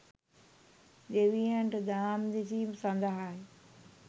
දෙවියන්ට දහම් දෙසීම සඳහාය